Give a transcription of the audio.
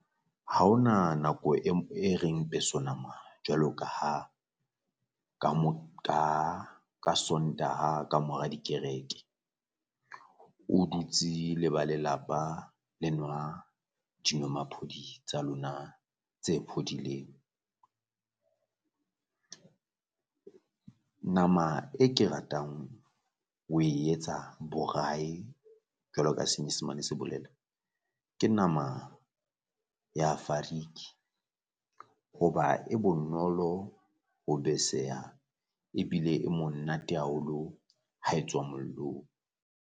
Ha o na nako e reng peso nama jwalo ka ha ka ka ka Sontaha kamora dikereke, o dutse le ba lelapa le nwa jinwamaphodi tsa lona tse phodileng. Nama e ke ratang ho e etsa borayi jwalo ka senyesemane se bolela, ke nama ya fariki hoba e bonolo ho beseha ebile e monate haholo ha e tswa mollong.